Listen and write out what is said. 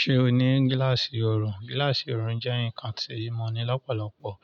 Ṣé o ní gíláàsì oorun? Gíláàsì oorun jẹ́ nǹkan tí mo ní lọ́pọ̀lọpọ̀